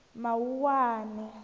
mawuwani